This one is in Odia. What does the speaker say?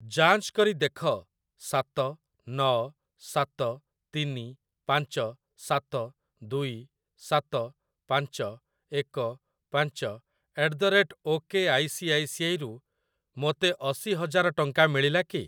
ଯାଞ୍ଚ କରି ଦେଖ ସାତ ନ ସାତ ତିନି ପାଞ୍ଚ ସାତ ଦୁଇ ସାତ ପାଞ୍ଚ ଏକ ପାଞ୍ଚ eight the date okay I C I C I ରୁ ମୋତେ ଅଶି ହଜାର ଟଙ୍କା ମିଳିଲା କି?